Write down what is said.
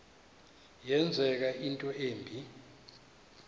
yenzeka into embi